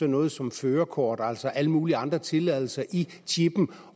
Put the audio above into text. noget som førerkort altså alle mulige andre tilladelser i chippen